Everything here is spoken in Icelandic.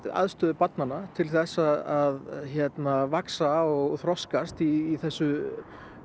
aðstöðu barna til þess að vaxa og þroskast í þessu